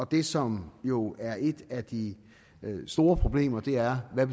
det som jo er et af de store problemer er hvad